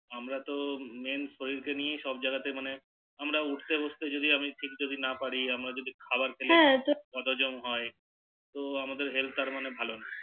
আমরা তো মেন শরীর কে নিয়ে সব জায়গাতে মানে আমরা উঠতে বসতে যদি ঠিক না পারি হ্যাঁ আমার যদি খাবার খেলে বদহজম হয় তো আমাদের Health টা মানে আর ভালো নেই